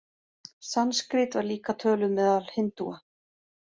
Sanskrít var líka töluð meðal hindúa.